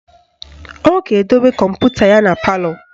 Ọ ga-edobe kọmputa ya na palọ